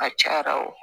A cayara wo